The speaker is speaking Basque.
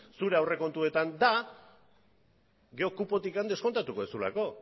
zure aurrekontuetan da gero kupotik deskontatuko duzulako